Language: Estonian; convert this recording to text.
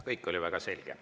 Kõik oli väga selge.